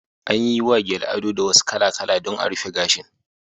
An yi wa gele ado duwatsu kala-kala dan a rufe gashin